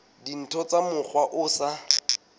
dintho ka mokgwa o sa